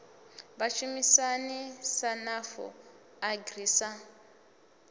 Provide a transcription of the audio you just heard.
vhashumisani sa nafu agri sa